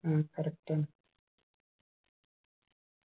ഉം correct ആണ്